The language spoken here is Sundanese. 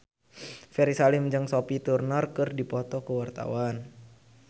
Ferry Salim jeung Sophie Turner keur dipoto ku wartawan